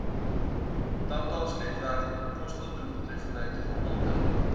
tandartsnetwerk kostedoeltreffende gehalte